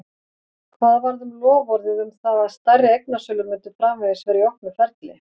Hvað varð um loforðið um það að stærri eignasölur myndu framvegis vera í opnu ferli?